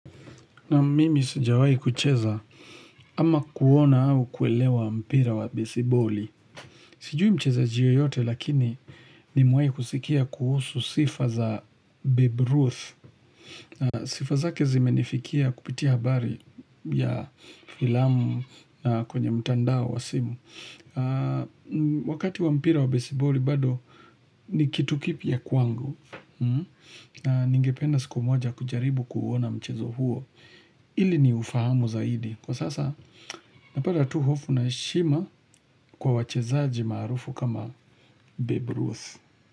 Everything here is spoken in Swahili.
Naam mimi sijawahi kucheza ama kuona au kuelewa mpira wa besiboli. Sijui mchezaji yeyote lakini nimewahi kusikia kuhusu sifa za Babe Ruth. Sifa zake zimenifikia kupitia habari ya filamu na kwenye mtandao wa simu. Wakati wa mpira wa besiboli bado ni kitu kipya kwangu. Ningependa siku moja kujaribu kuuona mchezo huo. Ili ni ufahamu zaidi Kwa sasa napata tu hofu na heshima kwa wachezaji maarufu kama Babe Ruth.